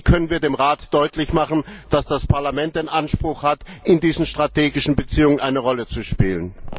Und wie können wir dem Rat deutlich machen, dass das Parlament den Anspruch hat, in diesen strategischen Beziehungen eine Rolle zu spielen?